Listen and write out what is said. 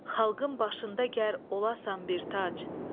Xalqın başında gər olasan bir tac.